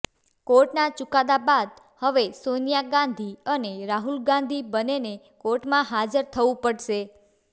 કોર્ટના ચૂકાદા બાદ હવે સોનિયા ગાંધી અને રાહુલ ગાંધી બંનેને કોર્ટમાં હાજર થવું પડશે